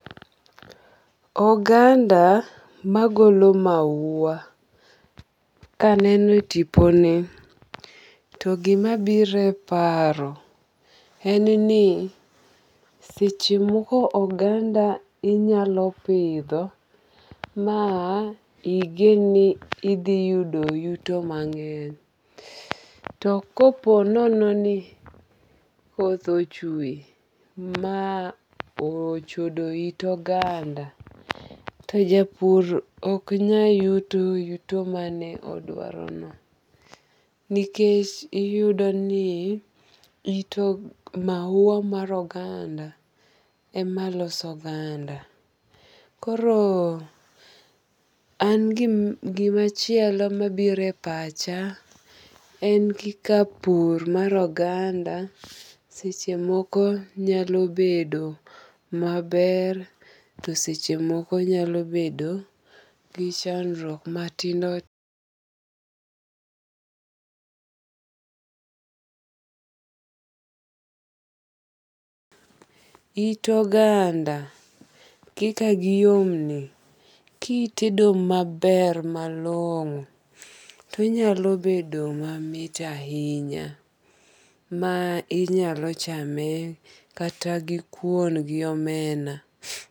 Oganda magolo mahua kaneno e tipo ni to gima biro e paro en ni seche moko oganda inyalo pidho ma igen ni idhi yudo yuto mang'eny. To kopo nono ni koth ochwe ma ochodo it oganda, to japur ok nya yudo yuto mane odwaro no. Nikech iyudo ni mahua mar oganda ema loso oganda. Koro an gimachielo mabiro e pacha en kaka pur mar oganda seche moko nyalo bedo maber to seche moko nyalo bedo gi chandruok matindo It oganda kaka giyom ni kitedo maber malong'o to onyalo bedo mamit ahinya. Ma inyalo chame kata gi kuon gi omena.